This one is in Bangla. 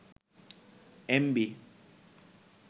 এমবি